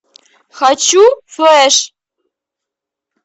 хочу флэш